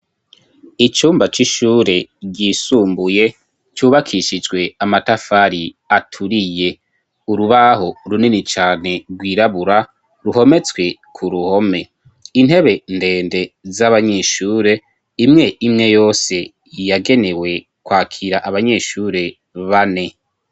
Icumba c'ishure ryisumbuye cubakishijwe amatafari aturiye urubaho runini cane rwirabura ruhometswe ku ruhome intebe ndende z'abanyeshure, imw'imwe yose yagenewe kwakira abanyeshure bane.